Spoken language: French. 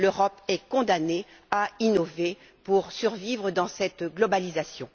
L'Europe est condamnée à innover pour survivre dans cette globalisation.